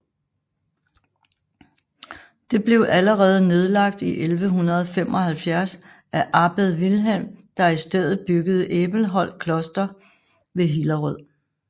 Det blev allerede nedlagt i 1175 af abbed Vilhelm der i stedet byggede Æbelholt Kloster ved Hillerød